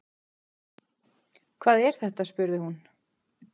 Hvað er þetta spurði hún.